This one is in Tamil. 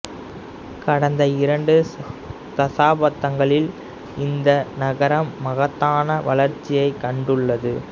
கடந்த இரண்டு தசாப்தங்களில் இந்த நகரம் மகத்தான வளர்ச்சியைக் கண்டுள்ளது